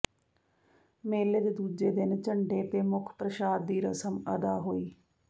ਮੇਲੇ ਦੇ ਦੂਜੇ ਦਿਨ ਝੰਡੇ ਤੇ ਮੁੱਖ ਪ੍ਰਸ਼ਾਦ ਦੀ ਰਸਮ ਅਦਾ ਹੋਈ